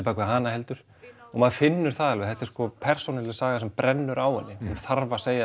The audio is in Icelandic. bak við hana heldur og maður finnur það alveg þetta er sko persónulega saga sem brennur á henni hún þarf að segja